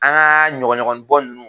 An ka ɲɔgɔnɲɔgɔnin bɔ ninnu